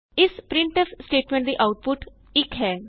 ਇਸ printf statement ਦੀ output 1 ਹੈ